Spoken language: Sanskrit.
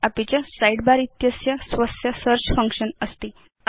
अपि च साइडबार इत्यस्य स्वस्य सेऽर्च फंक्शन अस्ति